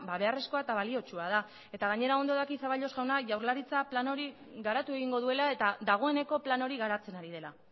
beharrezkoa eta baliotsua da eta gainera ondo daki zaballos jauna jaurlaritza plan hori garatu egingo duela eta dagoeneko plan hori garatzen ari dela